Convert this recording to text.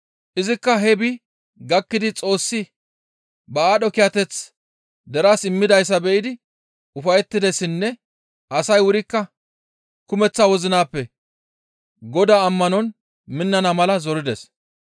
Izikka hee bi gakkidi Xoossi ba aadho kiyateth deraas immidayssa be7idi ufayettidessinne asay wurikka kumeththa wozinappe Godaa ammanon minnana mala zorides.